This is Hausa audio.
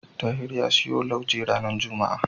Tahir ya siyo lauje ranar juma'a.